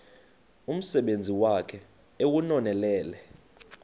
umsebenzi wakhe ewunonelele